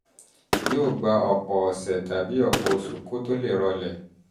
yóò gba yóò gba ọ̀pọ̀ ọ̀sẹ̀ tàbí ọ̀pọ̀ oṣù kó tó lè rọlẹ̀